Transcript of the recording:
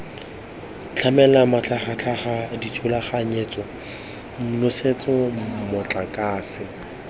tlamela matlhagatlhaga dithulaganyetso nosetso motlakase